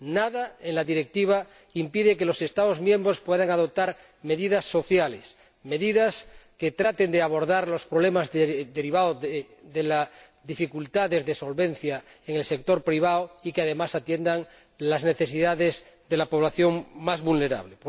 Nada en la Directiva impide que los Estados miembros puedan adoptar medidas sociales, medidas que traten de abordar los problemas derivados de las dificultades de solvencia en el sector privado y, que además, atiendan las necesidades de la población más vulnerable.